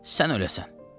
Sən öləsən.